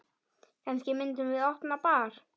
Kannski myndum við opna bar.